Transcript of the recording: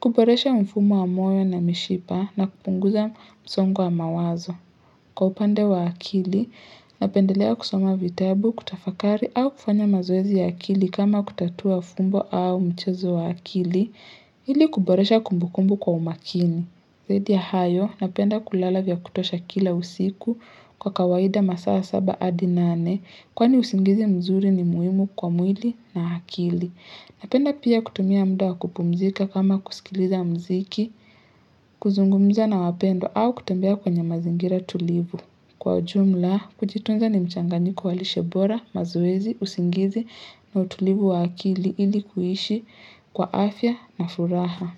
kuboresha mfumo wa moyo na mishipa na kupunguza msongo wa mawazo. Kwa upande wa akili, napendelea kusoma vitabu, kutafakari au kufanya mazoezi ya akili kama kutatua fumbo au mchezo wa akili, ili kuboresha kumbukumbu kwa umakini. Zaidi ya hayo, napenda kulala vya kutosha kila usiku kwa kawaida masaa saba hadi nane kwani usingizi mzuri ni muhimu kwa mwili na akili. Napenda pia kutumia muda wa kupumzika kama kusikiliza muziki, kuzungumza na wapendwa au kutembea kwenye mazingira tulivu. Kwa jumla, kujitunza ni mchanganyiko wa lishe bora, mazoezi, usingizi na utulivu wa akili ili kuhshi kwa afya na furaha.